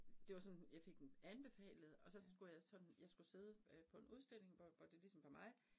Det var sådan jeg fik den anbefalet, og så skulle jeg sådan, jeg skulle sidde øh på en udstilling hvor hvor det ligesom var mig